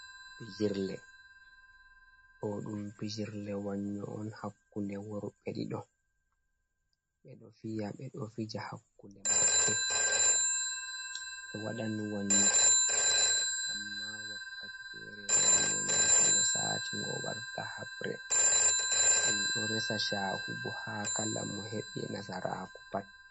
Pijirle, ɗo ɗum pijirle wannyo'on hakkunde worɓe ɗiɗo, ɓe ɗo fiya ɓe ɗo fija hakkunde maɓɓe be. Wadan wanyo amma wakkati fere wanyo mai to ngo sati ngo warta habree, ɗum ɗo resa shahu bo ha kala mo heɓi nasaraku pat.